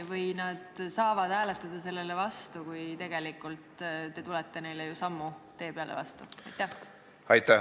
Või nad hääletavad vastu, kuigi te tegelikult tulete neile mitu sammu tee peal vastu?